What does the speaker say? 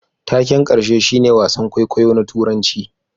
Taken karshe shine wasan kwaikwayo na Turanci